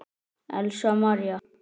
Elsa María.